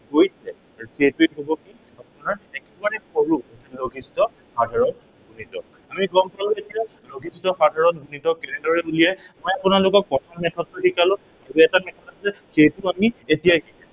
আৰু সেইটোৱেই হব কি, আপোনাৰ একেবাৰে সৰু লঘিষ্ঠ সাধাৰণ গুণিতক। আমি গম পালো এতিয়া লঘিষ্ঠ সাধাৰণ গুণিতক কেনেদৰে উলিয়াই। মই আপোনালোকক প্ৰথম method টো শিকালো, আৰু এটা method আছে, সেইটো আমি এতিয়াই শিকিম।